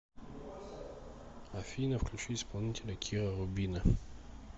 афина включи исполнителя кира рубина